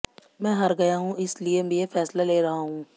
मैं हार गया हुँ इस लिए ये फ़ैसला ले रहा हुँ